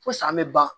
Fo san bɛ ban